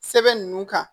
Sɛbɛn ninnu kan